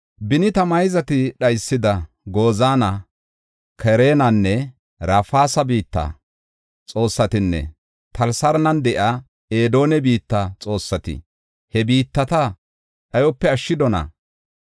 Beni ta mayzati dhaysida Gozaana, Kaaranenne Rafeesa biitta xoossatinne Talasaaran de7iya Edene biitta xoossati he biittata dhayope ashshidonaa?